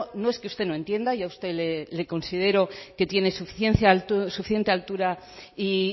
no es que usted no entienda yo a usted le considero que tiene suficiente altura y